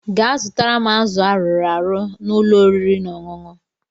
Gaa zụtara m azụ arụrụ arụ na ụlọ oriri na ọṅụṅụ